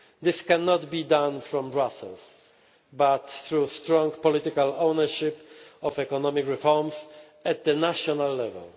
union. This cannot be done from Brussels but through strong political ownership of economic reforms at national